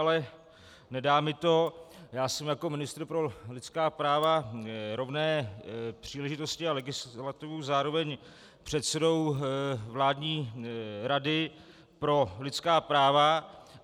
Ale nedá mi to, já jsem jako ministr pro lidská práva, rovné příležitosti a legislativu zároveň předsedou vládní Rady pro lidská práva.